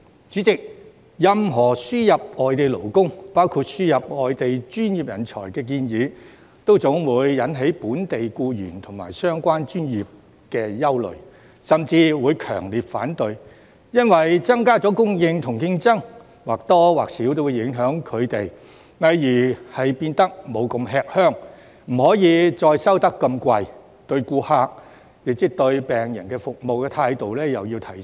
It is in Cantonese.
主席，任何輸入外地勞工，包括輸入外地專業人才的建議，總會引起本地僱員和相關專業的憂慮，甚至強烈反對。因為增加供應和競爭或多或少會影響他們，例如他們不會那麼吃香，不可再收那麼昂貴的費用，對顧客的服務態度也要提升。